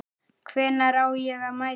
Hvenær á ég að mæta?